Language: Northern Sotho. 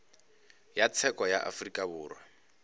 ya tsheko ya afrika borwa